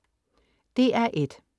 DR1: